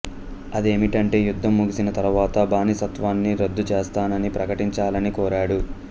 అది ఏమిటంటే యుద్ధం ముగిసిన తరువాత బానిసత్వాన్ని రద్దు చేస్తానని ప్రకటించాలని కోరాడు